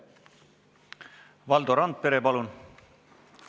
Valdo Randpere, palun!